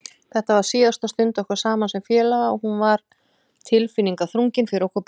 Þetta var síðasta stund okkar saman sem félaga og hún var tilfinningaþrungin fyrir okkur báða.